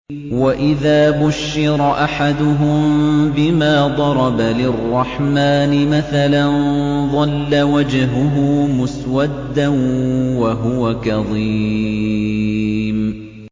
وَإِذَا بُشِّرَ أَحَدُهُم بِمَا ضَرَبَ لِلرَّحْمَٰنِ مَثَلًا ظَلَّ وَجْهُهُ مُسْوَدًّا وَهُوَ كَظِيمٌ